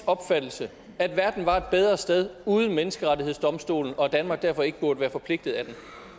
opfattelse at verden var et bedre sted uden menneskerettighedsdomstolen og at danmark derfor ikke burde være forpligtet af